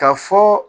Ka fɔ